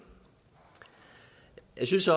jeg synes